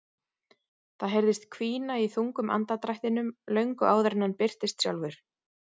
Það heyrðist hvína í þungum andardrættinum löngu áður en hann birtist sjálfur.